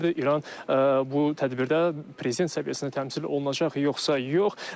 İran bu tədbirdə prezident səviyyəsində təmsil olunacaq yoxsa yox?